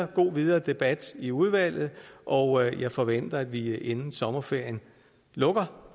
god videre debat i udvalget og jeg forventer at når vi inden sommerferien lukker